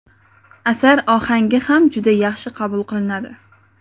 Asar ohangi ham juda yaxshi qabul qilinadi.